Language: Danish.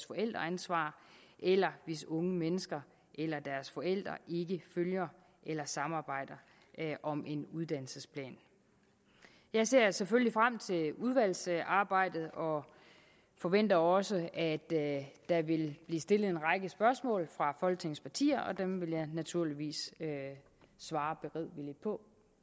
forældreansvar eller hvis unge mennesker eller deres forældre ikke følger eller samarbejder om en uddannelsesplan jeg ser selvfølgelig frem til udvalgsarbejdet og forventer også at der vil blive stillet en række spørgsmål fra folketingets partier og dem vil jeg naturligvis svare beredvilligt på